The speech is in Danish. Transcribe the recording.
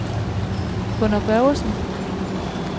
Gunnar Børgesen